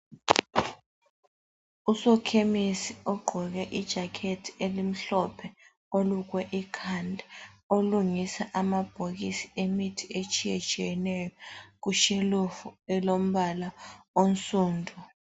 Usokhemisi ogqoke ijakhethi elimhlophe olukwe ikhanda olungisa amabhokisi emithi etshiyetshiyeneyo kutshelufu elombala onsundu.